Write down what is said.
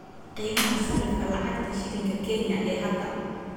qiimaha sarifka lacagta shilinka Kenya ee hadda